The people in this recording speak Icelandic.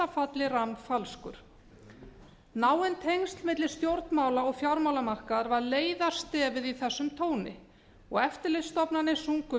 falli rammfalskur náin tengsl milli stjórnmála og fjármálamarkaðar var leiðarstefið í þessum tóni og eftirlitsstofnanir sungu